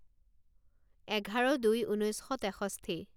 এঘাৰ দুই ঊনৈছ শ তেষষ্ঠি